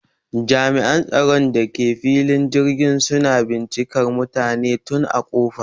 Jami'an tsaron da ke filin jirgin suna bincikar mutane tun a ƙofa